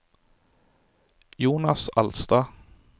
Jonas Alstad